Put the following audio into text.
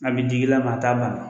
An bi digi i la t'a bana.